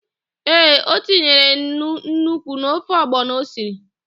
Ee, o tinyere nnu nnukwu n'ofe ọgbọnọ o siri.